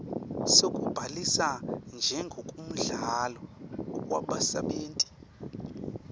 sekubhalisa njengemkhandlu webasebenti